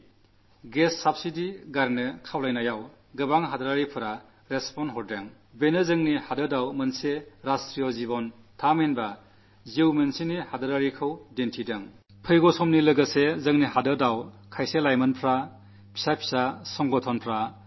കഴിഞ്ഞനാളുകളിൽ gas subsidy ഉപേക്ഷിക്കാൻ ഞാൻ പറഞ്ഞപ്പോൾ നമ്മുടെ ജനങ്ങൾ അതിനോട് വളരെയേറെ അനുകൂലമായി പ്രതികരിച്ചത്ദേശീയ ജീവിതത്തിലെ വളരെ പ്രേരണയേക്കുന്ന ഒരു സംഭവമാണ്